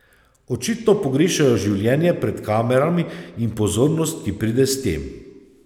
Očitno pogrešajo življenje pred kamerami in pozornost, ki pride s tem.